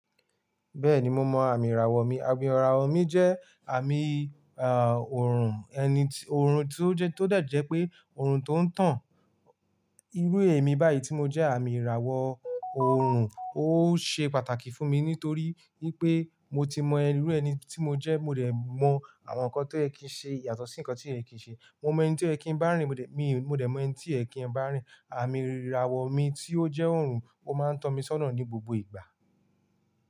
Bẹ́ẹ̀ni mo mọ àmì ìràwọ̀ mi. Àmì ìràwọ̀ mi jẹ́ àmì, ọ̀run ẹni, ọ̀run tí ó jẹ́ tó dẹ̀ jẹ́ pé ọ̀run tó ń tàn irú èmi báyìí tí mo jẹ àmì ìràwọ̀ orun. Ó ṣe pàtàkì fún mi nítorí wipé mo ti mọ irú ẹni tí mo jẹ́, mo dẹ̀ mọ àwọn nǹkan tó yẹ kí ń ṣe yàtọ̀ sí nǹkan tí ko yẹ kí ń ṣe. Mo mọ ẹni tí o yẹ kí ń bá rìn, mo dẹ̀ mọ ẹni tí ko yẹ kí ń bá rìn. Àmì ìràwọ̀ mi tí ó jẹ́ orun, ó máa ń tọ́ mi sọ́nà ní gbogbo ìgbà.